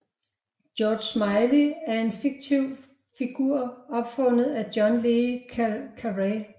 George Smiley er en fiktiv figur opfundet af John le Carré